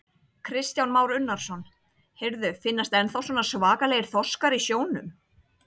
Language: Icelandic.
Kristján Már Unnarsson: Heyrðu, finnast ennþá svona svakalegir þorskar í sjónum?